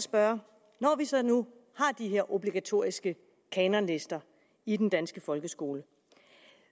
spørge når vi så nu har de her obligatoriske kanonlister i den danske folkeskole